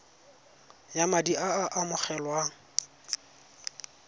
ya madi a a amogelwang